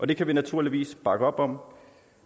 det kan vi naturligvis bakke op om